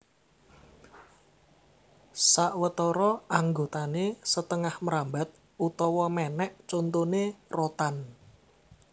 Sawetara anggotané setengah mrambat utawa mènèk contoné rotan